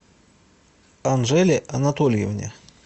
анжеле анатольевне